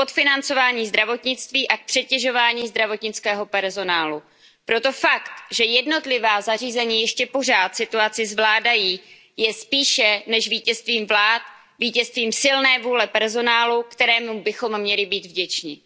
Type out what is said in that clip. Paní předsedající, v prvé řadě je třeba si uvědomit, že v mnoha členských státech po mnoho let docházelo ke zcela nezodpovědné a likvidační politice škrtů. Docházelo k podfinancování zdravotnictví a k přetěžování zdravotnického personálu. Proto fakt, že jednotlivá zařízení ještě pořád situaci zvládají, je spíše než vítězstvím vlád vítězstvím silné vůle personálu, kterému bychom měli být vděčni.